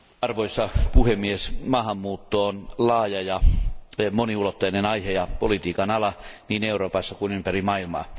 Arvoisa puhemies, maahanmuutto on laaja ja moniulotteinen aihe ja politiikan ala niin Euroopassa kuin ympäri maailmaa.